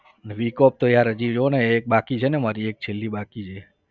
week off તો યાર હજી જોને એક બાકી છે ને મારી એક છેલ્લી બાકી છે.